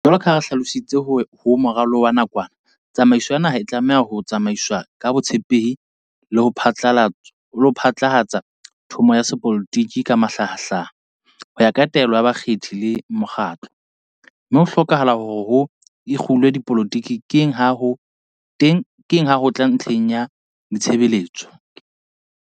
Jwalo ka ha re hlalositse ho moralo wa nakwana, "tsamaiso ya naha e tlameha ho tsamaiswa ka botshepehi le ho phethahatsa thomo ya sepolotiki ka mahlahahlaha ho ya ka taelo ya bakgethi le mokgatlo, mme ho hlokahala hore ho ikgulwe dipoloti keng ha ho tla ntlheng ya ditshebeletso."